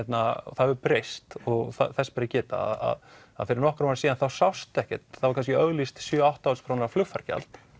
það hefur breyst og þess ber að geta að fyrir nokkrum árum síðan þá sást ekkert það var kannski auglýst sjö til átta þúsund króna flugfargjald